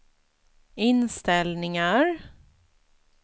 inställningar